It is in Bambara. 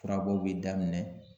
Furabɔw be daminɛ